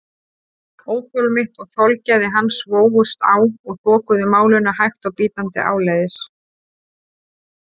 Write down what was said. Óþol mitt og þolgæði hans vógust á og þokuðu málinu hægt og bítandi áleiðis.